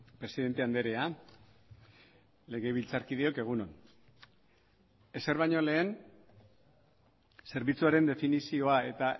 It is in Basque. presidente andrea legebiltzarkideok egun on ezer baino lehen zerbitzuaren definizioa eta